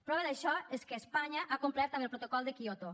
prova d’això és que espanya ha complert amb el protocol de kyoto